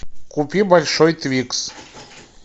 купи большой твикс